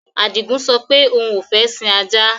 Adígun sọ pé òun ó fẹ sìn ajá.